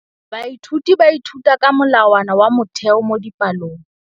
Baithuti ba ithuta ka molawana wa motheo mo dipalong.